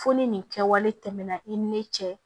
Fo ni nin kɛwale tɛmɛna i ni ne cɛ